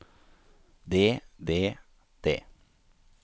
det det det